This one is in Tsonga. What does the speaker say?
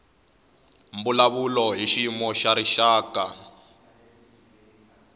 mbulavulo hi xiyimo xa rixaka